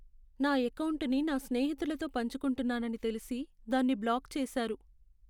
నా ఎకౌంటును నా స్నేహితులతో పంచుకుంటున్నానని తెలిసి దాన్ని బ్లాక్ చేసారు.